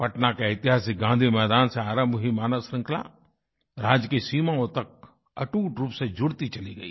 पटना का ऐतिहासिक गाँधी मैदान से आरंभ हुई मानवश्रृंखला राज्य की सीमाओं तक अटूटरूप से जुड़ती चली गई